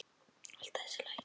Alltaf þessi læti.